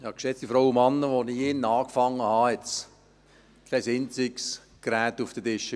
Als ich hier im Grossen Rat angefangen habe, gab es kein einziges Gerät auf den Tischen.